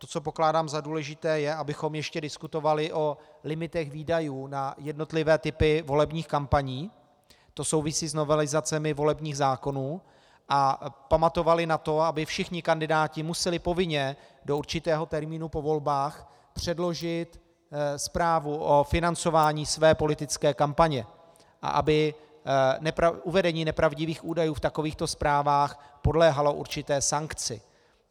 To, co pokládám za důležité, je, abychom ještě diskutovali o limitech výdajů na jednotlivé typy volebních kampaní, to souvisí s novelizacemi volebních zákonů, a pamatovali na to, aby všichni kandidáti museli povinně do určitého termínu po volbách předložit zprávu o financování své politické kampaně a aby uvedení nepravdivých údajů v takovýchto zprávách podléhalo určité sankci.